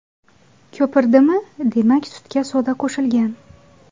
Ko‘pirdimi, demak sutga soda qo‘shilgan.